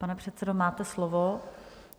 Pane předsedo, máte slovo.